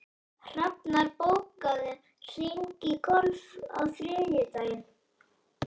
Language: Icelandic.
Hrafnar, bókaðu hring í golf á þriðjudaginn.